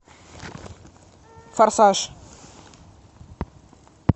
форсаж